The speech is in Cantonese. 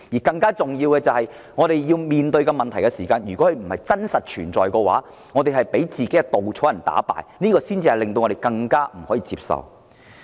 更重要的是，我們面對不是真實存在的問題時，不應被自己的稻草人打敗，否則便令我們更難以接受。